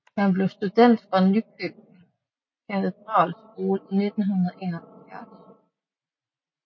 Han blev student fra Nykøbing Katedralskole i 1971